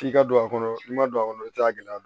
F'i ka don a kɔnɔ i ma don a kɔnɔ i t'a gɛlɛya